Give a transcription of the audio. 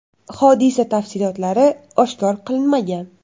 Hodisa tafsilotlari oshkor qilinmagan.